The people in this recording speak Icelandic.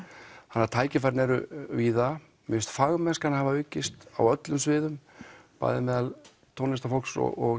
þannig að tækifærin eru víða mér finnst fagmennskan hafa aukist á öllum sviðum bæði meðal tónlistarfólks og